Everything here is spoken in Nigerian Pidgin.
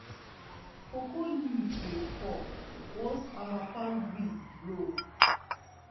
cocoa leaf dey fall once harmattan breeze blow.